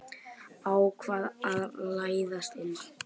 Ákvað að læðast inn.